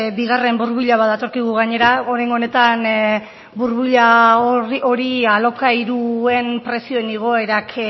bigarren burbuila bat datorkigu gainera oraingo honetan burbuila hori alokairuen prezioen igoerak